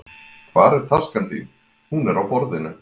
Hvar taskan þín? Hún er á borðinu.